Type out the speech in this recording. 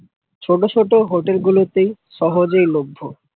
ছোট ছোট hotel গুলোতে সহজেই ল্ভ্য।